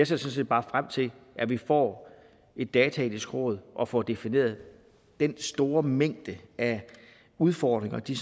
sådan set bare frem til at vi får et dataetisk råd og får defineret den store mængde af udfordringer de